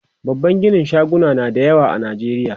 babban ginin shaguna na da yawa a nijeriya